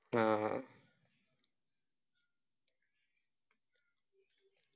ആ